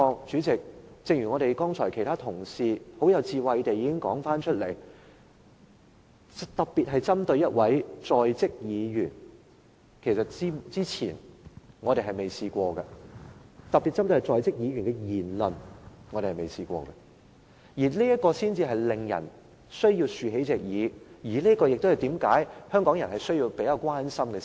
主席，正如其他同事剛才已很有智慧地說，今次的情況是特別針對1位在職議員的言論，其實是我們之前從未遇過的，這就是為何人們需要張開耳朵，這就是為何香港人要關心這事。